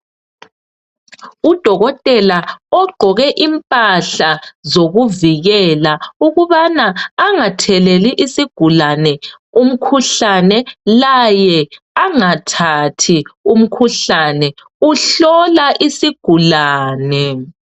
Udokotela ogqoke impahla zokuvikela ukabana angatheleli isigulani umkhuhlane laye angathathi umkhuhlane uhlola isigulane.